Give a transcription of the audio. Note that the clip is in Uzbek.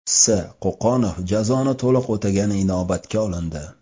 S. Qo‘qonov jazoni to‘liq o‘tagani inobatga olindi.